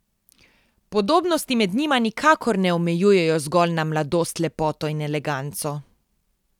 Podobnosti med njima nikakor ne omejujejo zgolj na mladost, lepoto in eleganco.